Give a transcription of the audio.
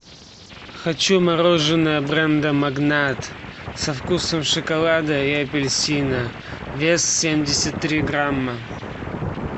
хочу мороженое бренда магнат со вкусом шоколада и апельсина вес семьдесят три грамма